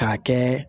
K'a kɛ